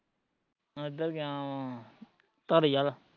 ਏਧਰ ਗਿਆ ਵਾ, ਧਾਰੀਆਲ